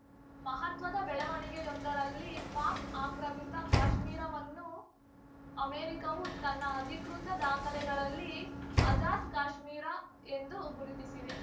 ಮಹತ್ವದ ಬೆಳವಣಿಗೆಯೊಂದರಲ್ಲಿ ಪಾಕ್‌ ಆಕ್ರಮಿತ ಕಾಶ್ಮೀರ ವನ್ನು ಅಮೆರಿಕವು ತನ್ನ ಅಧಿಕೃತ ದಾಖಲೆಗಳಲ್ಲಿ ಆಜಾದ್‌ ಕಾಶ್ಮೀರ ಎಂದು ಗುರುತಿಸಿವೆ